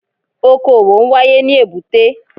Okò òwò n wáyé ní èbúté